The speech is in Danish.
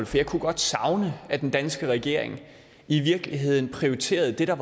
for jeg kunne godt savne at den danske regering i virkeligheden prioriterede det der